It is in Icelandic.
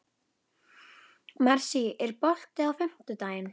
Marsý, er bolti á fimmtudaginn?